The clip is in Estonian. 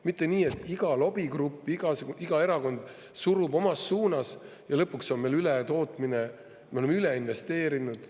Mitte nii, et iga lobigrupp, iga erakond surub omas suunas, ja lõpuks on meil ületootmine, me oleme üle investeerinud.